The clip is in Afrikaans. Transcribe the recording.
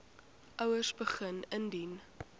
ouers begin indien